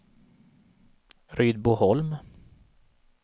Rydboholm